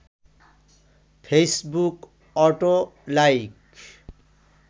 Facebook auto like